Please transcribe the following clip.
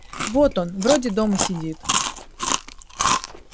вот он вроде дома сидит